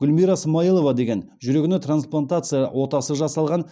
гүлмира смаилова деген жүрегіне трансплатация отасы жасалған